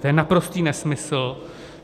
To je naprostý nesmysl.